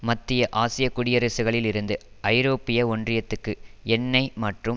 மத்திய ஆசிய குடியரசுகளில் இருந்து ஐரோப்பிய ஒன்றியத்துக்கு எண்ணெய் மற்றும்